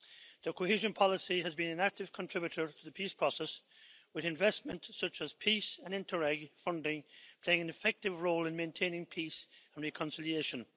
The cohesion policy has been an active contributor to the peace process with investment such as PEACE and INTERREG funding playing an effective role in maintaining peace and reconciliation.